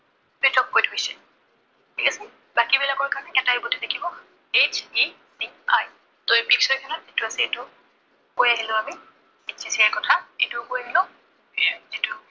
set off কৰি থৈছে। ঠিক আছে, বাকীবিলাকৰ কাৰনে এটাই body থাকিব, HECI এই list খনত যিটো আছে, এইটো কৈ আহিলো আমি HECI ৰ কথা, এইটো